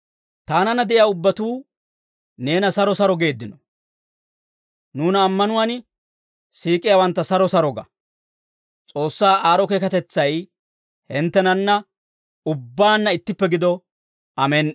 Taananna de'iyaa ubbatuu neena saro saro geeddino. Nuuna ammanuwaan siik'iyaawantta saro saro ga. S'oossaa aad'd'o keekatetsay hinttenanna ubbaanna ittippe gido. Amen"i.